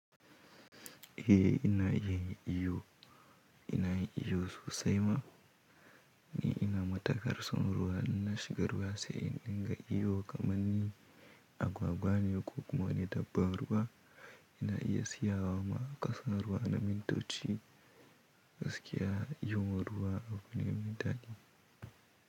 Eh ina iya yin iyo, ina iyo sosai ma, ni ina matukar son ruwa in na shiga ruwa sai in dinga iyo kamar ni agwagwa ne ko kuma ni dabban ruwa ina iya sayawa ma a kasan ruwa na mintoti gaskiya iyon ruwa abu ne mai daɗi.